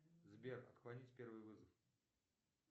сбер отклонить первый вызов